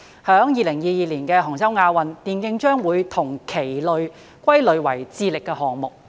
在2022年的杭州亞運會，電競將會與棋類歸類為"智力項目"。